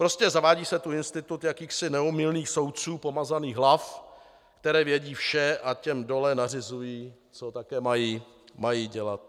Prostě zavádí se tu institut jakýchsi neomylných soudců, pomazaných hlav, které vědí vše a těm dole nařizují, co také mají dělat.